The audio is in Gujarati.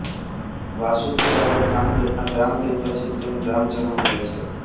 વાસુકીદાદા થાનગઢના ગ્રામદેવતા છે તેમ ગ્રામજનો કહે છે